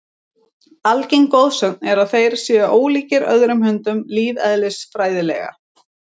Algeng goðsögn er að þeir séu ólíkir öðrum hundum lífeðlisfræðilega.